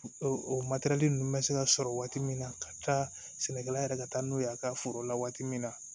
O matɛrɛli nunnu be se ka sɔrɔ waati min na ka taa sɛnɛkɛla yɛrɛ ka taa n'o ye a ka foro la waati min na